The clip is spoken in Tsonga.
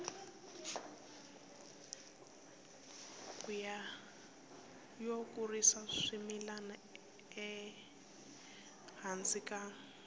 yo kurisa swimila ehansi ka